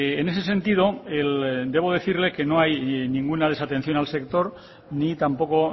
en ese sentido debo decirle que no hay ninguna desatención al sector ni tampoco